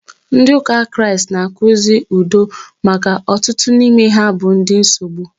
Ndị ụka Kraịst na- akụzi udo maka ọtụtụ n'ime ha bụ ndị nsogbu.